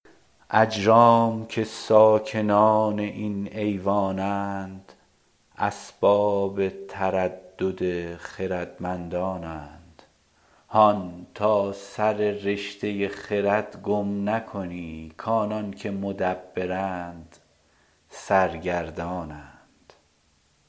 اجرام که ساکنان این ایوان اند اسباب تردد خردمندان اند هان تا سر رشته خرد گم نکنی کانان که مدبرند سرگردان اند